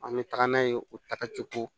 An bɛ taga n'a ye o takace ko